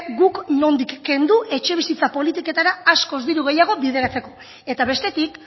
guk nondik kendu etxe bizitza politiketara askoz diru gehiago bideratzeko eta bestetik